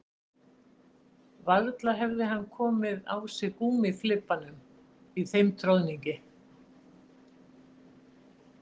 Varla hefði hann komið á sig gúmmíflibbanum í þeim troðningi